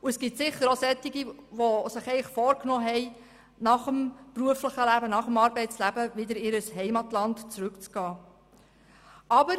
Und es gibt sicher auch welche, die sich vorgenommen haben, nach dem Arbeitsleben wieder in ihr Heimatland zurückzukehren.